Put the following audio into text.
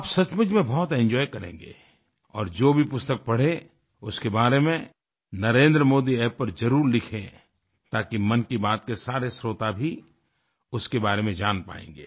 आप सचमुच में बहुत एंजॉय करेंगे और जो भी पुस्तक पढ़े उसके बारे में नरेंद्रमोदी App पर जरुर लिखें ताकि मन की बात के सारे श्रोता भी उसके बारे में जान पायेंगे